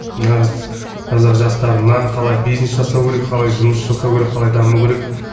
нағыз қазақ жастарына қалай бизнес жасау керек қалай жұмыс жасау керек қалай даму керек